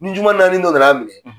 Ni juguma naani dɔ na n'a minɛ.